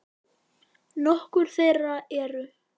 Nokkur þeirra eru